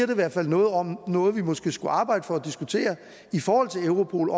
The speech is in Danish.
i hvert fald noget om noget vi måske skulle diskutere i forhold til europol